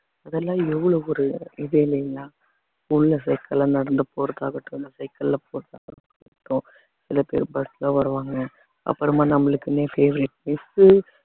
அதெல்லாம் எவ்வளவு ஒரு இது இல்லைங்களா cycle அ நடந்து போறது ஆகட்டும் இந்த cycle ல சில பேர் bus ல வருவாங்க அப்புறமா நம்மளுக்குன்னே favourite miss உ